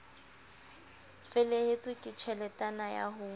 felehetswe ke tjheletana ya ho